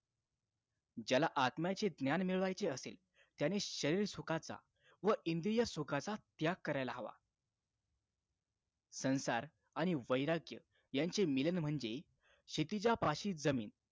ज्याला आत्म्याचे ज्ञान मिळवायचे असेल त्याने शरीर सुखाचा व इंद्रिय सुखाचा त्याग करायला हवा संसार आणि वैराग्य यांचे मिलन म्हणजे क्षितिजा पाशी जमीन